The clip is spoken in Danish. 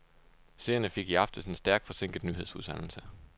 Seerne fik i aftes en stærkt forsinket nyhedsudsendelse.